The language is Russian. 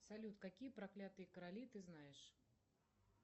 салют какие проклятые короли ты знаешь